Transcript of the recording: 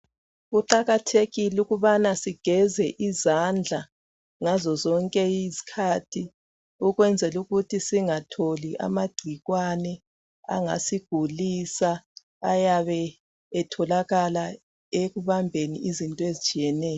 Kuqakathekile ukubana sigeze izandla ngazozonke izikhathi ukwenzelukuthi singatholi amagcikwane angasigulisa ayabe etholakala ekubambeni izinto ezitshiyeneyo.